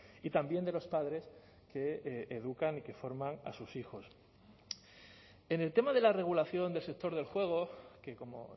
y también de los padres que educan y que forman a sus hijos en el tema de la regulación del sector del juego que como